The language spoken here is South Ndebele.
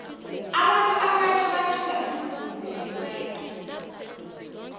abantu abatjha bathanda umvumo wekwaito